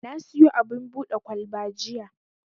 Na siyo abin buɗe kwalba jiya.